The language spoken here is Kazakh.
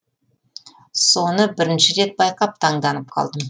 соны бірінші рет байқап таңданып қалды